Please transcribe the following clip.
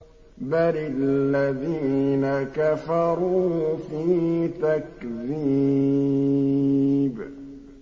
بَلِ الَّذِينَ كَفَرُوا فِي تَكْذِيبٍ